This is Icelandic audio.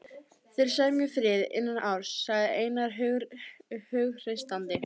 Þeir semja frið innan árs, sagði Einar hughreystandi.